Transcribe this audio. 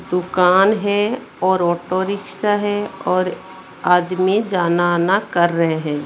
दुकान है और ऑटो रिक्शा है और आदमी जाना आना कर रहे हैं।